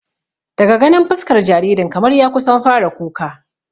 Daga ganin fuskar jaririn kamar ya kusan fara kuka